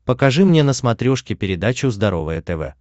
покажи мне на смотрешке передачу здоровое тв